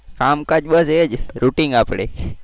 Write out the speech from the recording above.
કામકાજ બસ એ જ routine આપણે.